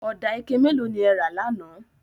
Ọdà ike mẹ́lò ni ẹ̀ rà láńà?